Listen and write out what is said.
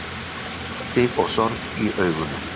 Ótti og sorg í augunum.